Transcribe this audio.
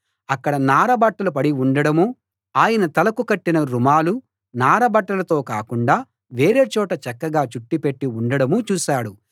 అక్కడ నారబట్టలు పడి ఉండడమూ ఆయన తలకు కట్టిన రుమాలు నార బట్టలతో కాకుండా వేరే చోట చక్కగా చుట్టి పెట్టి ఉండడమూ చూశాడు